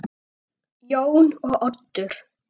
Jón og Oddur.